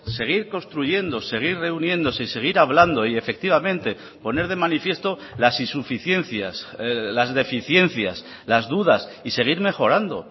seguir construyendo seguir reuniéndose y seguir hablando y efectivamente poner de manifiesto las insuficiencias las deficiencias las dudas y seguir mejorando